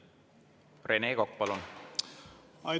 Rene Kokk, palun!